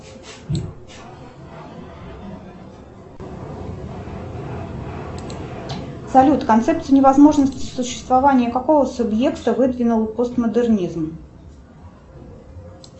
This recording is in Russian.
салют концепцию невозможности существования какого субъекта выдвинул постмодернизм